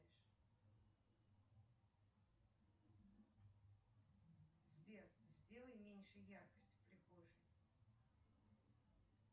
сбер сделай меньше яркость в прихожей